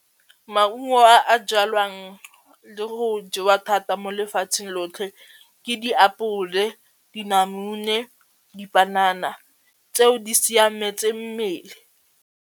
Maungo a jalwang le go jewa thata mo lefatsheng lotlhe ke diapole, dinamune, dipanana tseo di siametse mmele.